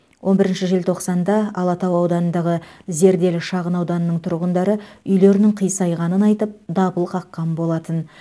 он бірінші желтоқсанда алатау ауданындағы зерделі шағын ауданының тұрғындары үйлерінің қисайғанын айтып дабыл қаққан болатын